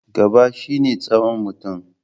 Gaba shi ne tsawon mutum.